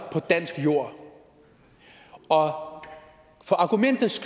på dansk jord og for argumentets